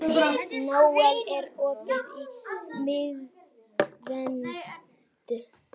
Nóel, er opið í Miðeind?